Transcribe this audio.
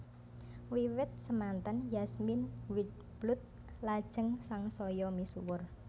Wiwit semanten Yasmin Wildblood lajeng sangsaya misuwur